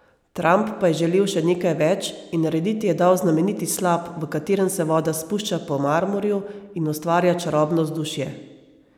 Trump pa je želel še nekaj več in narediti je dal znameniti slap, v katerem se voda spušča po marmorju in ustvarja čarobno vzdušje.